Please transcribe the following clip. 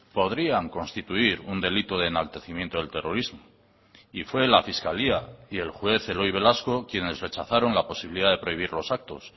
podrían constituir un delito de enaltecimiento del terrorismo y fue la fiscalía y el juez eloy velasco quienes rechazaron la posibilidad de prohibir los actos